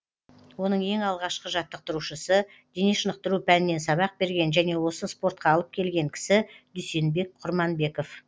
оның ең алғашқы жаттықтырушысы дене шынықтыру пәнінен сабақ берген және осы спортқа алып келген кісі дүйсенбек құрманбеков